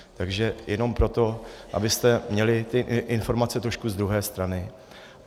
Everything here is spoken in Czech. Takže jenom proto, abyste měli ty informace trošku z druhé strany.